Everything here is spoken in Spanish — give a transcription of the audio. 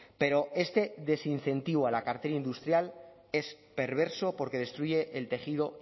pero este desincentivo a la cartera industrial es perverso porque destruye el tejido